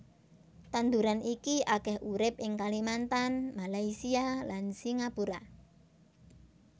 Tanduran iki akèh urip ing Kalimantan Malaysia lan Singapura